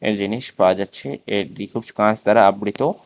জিনিস পাওয়া যাচ্ছে এর কাঁচ দ্বারা আবৃত।